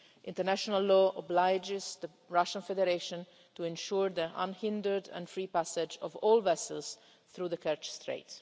International law obliges the Russian Federation to ensure the unhindered and free passage of all vessels through the Kerch Strait.